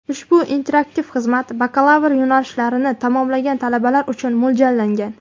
Ushbu interaktiv xizmat Bakalavr yo‘nalishlarini tamomlagan talabalar uchun mo‘ljallangan.